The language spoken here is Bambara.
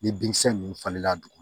Ni binkisɛ ninnu falenna a duguma